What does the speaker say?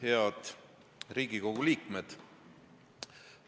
Head Riigikogu liikmed!